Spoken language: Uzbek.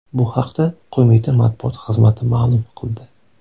Bu haqda qo‘mita matbuot xizmati ma’lum qildi .